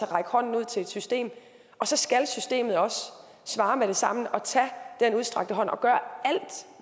række hånden ud til et system og så skal systemet også svare med det samme og tage den udstrakte hånd og gøre